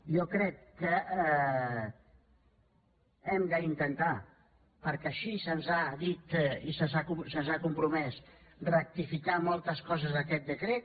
jo crec que hem d’intentar perquè així se’ns ha dit i se’ns ha compromès rectificar en moltes coses aquest decret